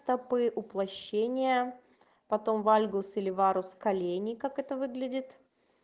этапы уплощения потом вальгус и варус колени как это выглядит